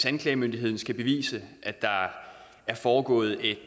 anklagemyndigheden skal bevise at der er foregået et